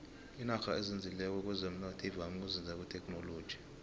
inarha ezinzileko kwezomnotho ivame ukuzinza kuthekhinoloji